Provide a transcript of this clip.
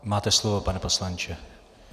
Máte slovo, pane poslanče.